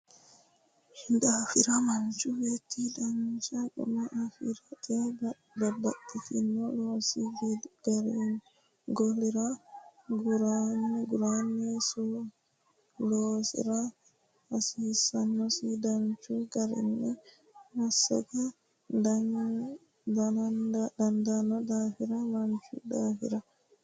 daafira manchu beetti dancha guma afi rate babbaxxino loosi golira garunni loosiro heeshshosi danchu garinni massaga dandaanno daafira manchu daafira.